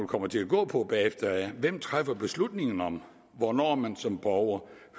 kommer til at gå på bagefter er hvem træffer beslutningen om hvornår man som borger